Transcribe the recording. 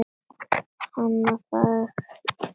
Hann þagði.